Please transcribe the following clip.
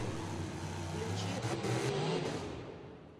включи обмани меня